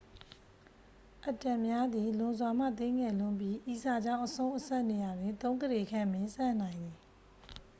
အက်တမ်များသည် လွန်စွာမှသေးငယ်လွန်းပြီး ဤစာကြောင်းအဆုံး အစက်နေရာတွင် သုံးကုဋေခန့်ပင်ဆန့်နိုင်သည်